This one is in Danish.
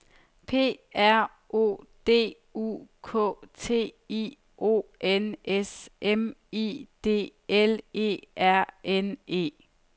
P R O D U K T I O N S M I D L E R N E